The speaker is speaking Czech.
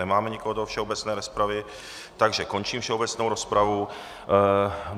Nemáme nikoho do všeobecné rozpravy, takže končím všeobecnou rozpravu.